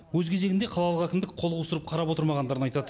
өз кезегінде қалалық әкімдік қол қусырып қарап отырмағандарын айтады